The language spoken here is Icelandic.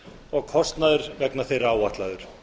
og kostnaður vegna þeirra áætlaður